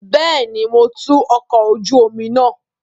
Bẹẹni, Mo tú ọkọ oju omi naa